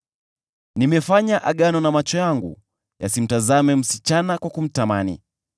“Nimefanya agano na macho yangu yasimtazame msichana kwa kumtamani.